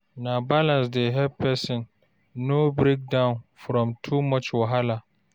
Na balance dey help person no break down from too much wahala.